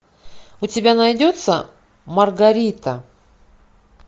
у тебя найдется маргарита